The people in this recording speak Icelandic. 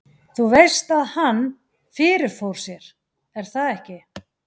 Þú veist að hann. fyrirfór sér, er það ekki?